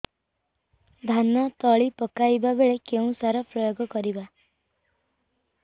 ଧାନ ତଳି ପକାଇବା ବେଳେ କେଉଁ ସାର ପ୍ରୟୋଗ କରିବା